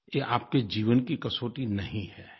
ये आपके जीवन की कसौटी नहीं है